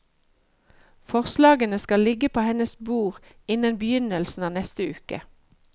Forslagene skal ligge på hennes bord innen begynnelsen av neste uke.